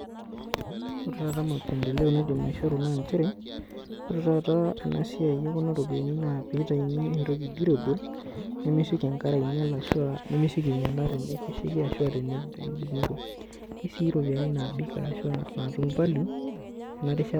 Ore taata mapendeleo naidim aishoru naa nchere. Ore taata esiai ekuna ropiyani naa pee eitayuni etoki durable nemesioki enkare ainyial ashu ah nemesioki ainyiala teneaku keshaiki ashu teniko esii ropiyani naapik natum value tenarishata.